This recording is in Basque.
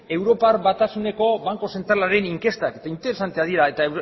europar batasuneko banku zentralaren inkestak interesanteak dira eta